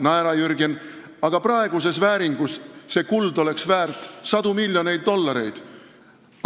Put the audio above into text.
Naera, Jürgen, aga praeguses vääringus oleks see kuld väärt sadu miljoneid dollareid.